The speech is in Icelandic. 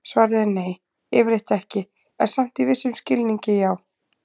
Svarið er nei, yfirleitt ekki, en samt í vissum skilningi já!